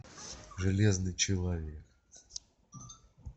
железный человек